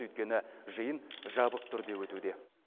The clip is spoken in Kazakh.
өйткені жиын жабық түрде өтуде